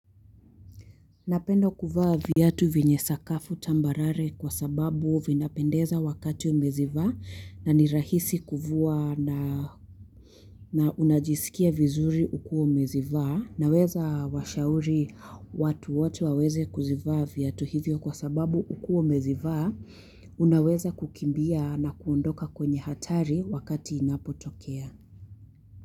Napenda kuvaa viatu venye sakafu tambarare kwa sababu vinapendeza wakati umezivaa na nirahisi kuvua na unajisikia vizuri ukuwa umezivaa naweza washauri watu wote waweze kuzivaa viatu hivyo kwa sababu ukuwa umezivaa unaweza kukimbia na kuondoka kwenye hatari wakati inapotokea.